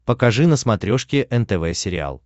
покажи на смотрешке нтв сериал